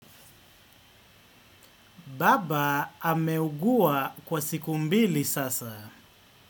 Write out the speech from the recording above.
Baba ameugua kwa siku mbili sasa.